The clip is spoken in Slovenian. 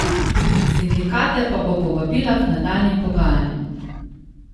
Sindikate pa bo povabila k nadaljnjim pogajanjem.